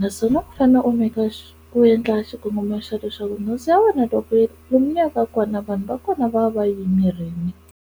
naswona u fanele u maker u endla xikongomelo xa leswaku nhundzu ya wena loko lomu mi yaka kona vanhu va kona va va va yi yimerini.